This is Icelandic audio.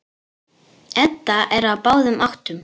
Edda er á báðum áttum.